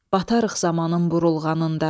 Batırıq zamanın burulğanında.